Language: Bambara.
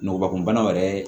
Ngɔbakunbana yɛrɛ